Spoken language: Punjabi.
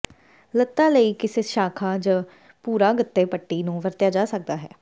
ਲਤ੍ਤਾ ਲਈ ਕਿਸੇ ਸ਼ਾਖਾ ਜ ਭੂਰਾ ਗੱਤੇ ਪੱਟੀ ਨੂੰ ਵਰਤਿਆ ਜਾ ਸਕਦਾ ਹੈ